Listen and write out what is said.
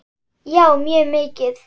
Já mjög mikið.